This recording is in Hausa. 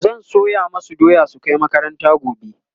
zan soya masu doya su Kai makaranta gobe